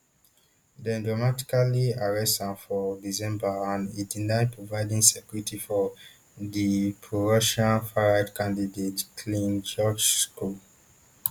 dem dramatically arrest am for december and e deny providing security for di prorussian farright candidate clin georgescu